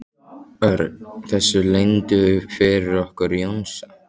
Örn þessu leyndu fyrir okkur Jónsa?